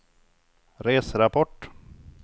reserapport